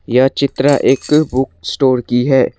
यह चित्र एक बुक स्टोर की है।